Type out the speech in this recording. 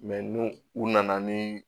ni u nana ni